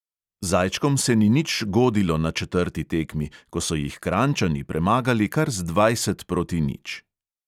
Zajčkom se ni nič godilo na četrti tekmi, ko so jih kranjčani premagali kar z dvajset proti nič.